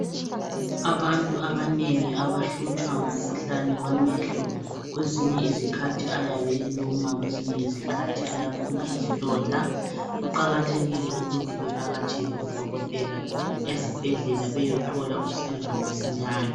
Abantu abanengi abahlutshwa ngumkhuhlane wamehlo kwezinye izikathi ayabe eluma kwezinye izikhathi ayabe ephuma izilonda kuqakathekile ukuthi bevakatshele odokotela ezibhedlela bayothola usizo masinyane.